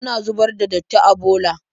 Ana zubar da datti a bola.